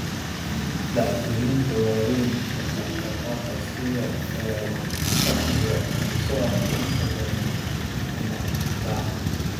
Dhacdooyinka waaweyn ee dhaqdhaqaaqa sida fadhiga iyo socodka inta badan dib uma daahno.